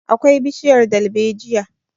akwai bishiyar dalbaejijia